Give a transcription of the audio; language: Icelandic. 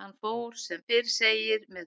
Hann fór sem fyrr segir með